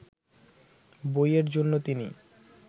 বইয়ের জন্য তিনি